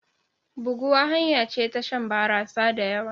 Buguwa hanya ce ta shan barasa da yawa.